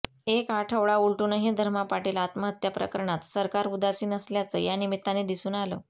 एक आठवडा उलटूनही धर्मा पाटील आत्महत्या प्रकरणात सरकार उदासिन असल्याचं या निमित्ताने दिसून आलं